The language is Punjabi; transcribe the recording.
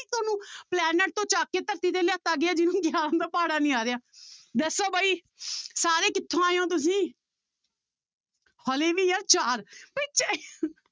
ਤੁਹਾਨੂੰ Planet ਤੋਂ ਚੁੱਕ ਕੇ ਧਰਤੀ ਤੇ ਲਿਆਤਾ ਗਿਆ ਜਿਹਨੂੰ ਗਿਆਰਾਂ ਦਾ ਪਹਾੜਾ ਨੀ ਆ ਰਿਹਾ ਦੱਸੋ ਬਾਈ ਸਾਰੇ ਕਿੱਥੋਂ ਆਏ ਹੋ ਤੁਸੀਂ ਹਾਲੇ ਵੀ ਯਾਰ ਚਾਰ ਬਾਈ